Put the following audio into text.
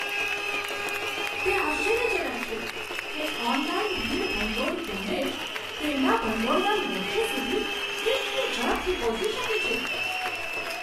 તે આશ્ચર્યજનક છે કે ઓનલાઈન ભીડ ભંડોળ ઝુંબેશ તેમના ભંડોળના લક્ષ્યો સુધી કેટલી ઝડપથી પહોંચી શકે છે.